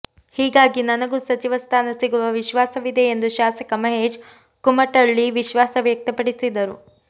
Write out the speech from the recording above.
ಹೀಗಾಗಿ ನನಗೂ ಸಚಿವ ಸ್ಥಾನ ಸಿಗುವ ವಿಶ್ವಾಸವಿದೆ ಎಂದು ಶಾಸಕ ಮಹೇಶ್ ಕುಮಟಳ್ಳಿ ವಿಶ್ವಾಸ ವ್ಯಕ್ತಪಡಿಸಿದರು